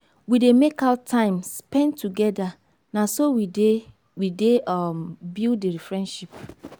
we dey make out time spend togeda na so we dey we dey um build di friendship.